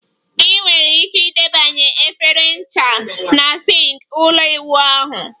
Ị nwere ike idebe efere ncha na sink ụlọ ịwụ ahụ